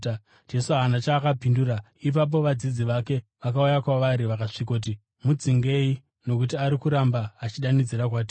Jesu haana chaakapindura. Ipapo vadzidzi vake vakauya kwaari vakasvikoti, “Mudzingei nokuti ari kuramba achidanidzira kwatiri.”